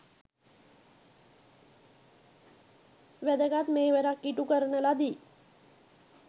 වැදගත් මෙහෙවරක් ඉටුකරන ලදී.